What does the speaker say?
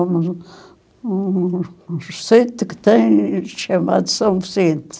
Um... um... um recente que tem chamado São Vicente.